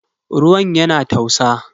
Ruwan yana tausa.